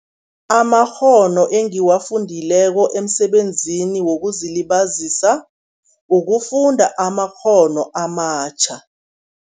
Amakghono engiwafundileko emsebenzini wokuzilibazisa, ukufunda amakghono amatjha.